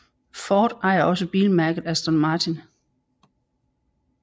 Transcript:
Ford ejer også bilmærket Aston Martin